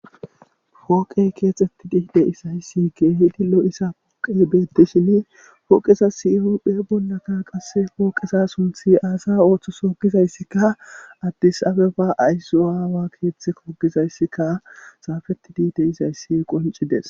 Pooqey keexetti dii deisayssike hidi lo7issa pooqezibeti shini pooqesa sihuphe bollaka qasse pooqesa sunthi aasa ooththosogizayssikka addis abeba ayssu aawa keeththe kogizayssika saafeti dii de izayssi qoncides